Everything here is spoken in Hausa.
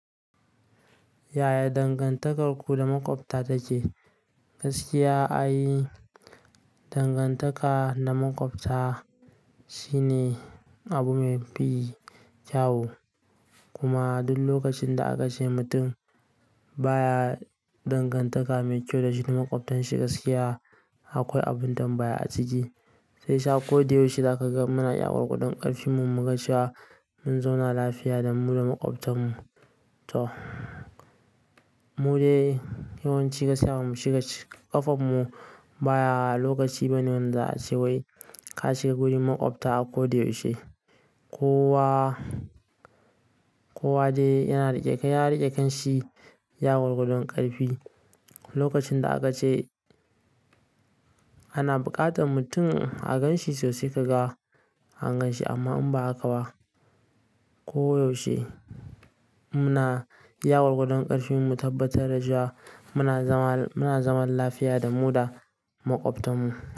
Yaya dangantakarku da maƙwabta take? Gaskiya, ai dangantaka da maƙwabta shine abu mai fi kyawu. Kuma duk lokacin da aka ce mutum baya dangantaka mai kyau da shi da maƙwabtanshi, gaskiya akwai abin tambaya a ciki. Sai sa ko da yaushe za ka ga muna gwargwadon ƙarfin mu muga cewa mun zauna lafiya da mu da maƙwabtanmu. To mude yawanci gaskiya mu shiga ƙafan mu baya lokaci bane wanda a ce wai ka shiga gurin maƙwabta a ko da yaushe. Kowa, kowa dai yana rike, ya rike kanshi iya gwargwadon ƙarfi. Lokacin da aka ce ana buƙatar mutum a ganshi sosai, ka ga a ganshi amma in ba haka ba, ko yaushe muna iya gwargwadon ƙarfi mu tabbatar da shi muna zama, muna zaman lafiya da mu da maƙwabtarmu.